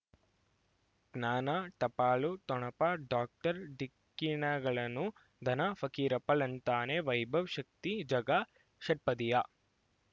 ಜ್ಞಾನ ಟಪಾಲು ಠೊಣಪ ಡಾಕ್ಟರ್ ಢಿಕ್ಕಿ ಣಗಳನು ಧನ ಫಕೀರಪ್ಪ ಳಂತಾನೆ ವೈಭವ್ ಶಕ್ತಿ ಝಗಾ ಷಟ್ಪದಿಯ